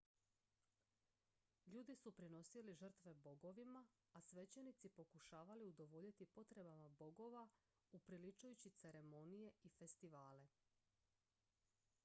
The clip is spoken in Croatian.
ljudi su prinosili žrtve bogovima a svećenici pokušavali udovoljiti potrebama bogova upriličujući ceremonije i festivale